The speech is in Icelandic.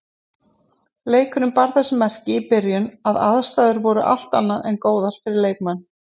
Leikurinn bar þess merki í byrjun að aðstæður voru allt annað en góðar fyrir leikmenn.